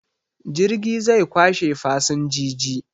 Jirgi zai kwashe fasinjiji